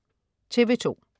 TV2: